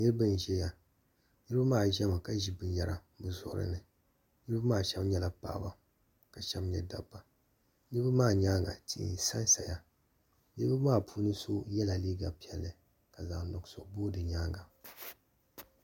Niriba n zɛya niriba maa zɛ mi ka zi bini yara bi zuɣuri ni niriba maa shɛba nyɛla paɣaba ka shɛba nyɛ dabba niriba maa yɛanga tihi n sa n saya niriba maa puuni so yela liiga piɛlli ka zaɣi nuɣiso boo di yɛanga.